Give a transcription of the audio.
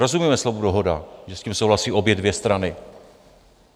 Rozumíme slovu dohoda, že s tím souhlasí obě dvě strany?